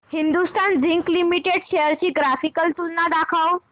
Hindustan Zinc Limited shares ची graphical तुलना दाखव